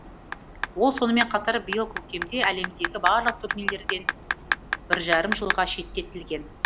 ол сонымен қатар биыл көктемде әлемдегі барлық турнирлерден бір жарым жылға шеттетілген